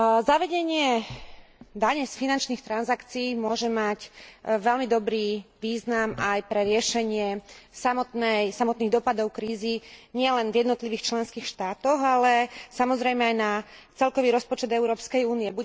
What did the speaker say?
Zavedenie dane z finančných transakcií môže mať veľmi dobrý význam pre riešenie samotných dôsledkov krízy nielen v jednotlivých členských štátoch, ale aj pre celkový rozpočet Európskej únie.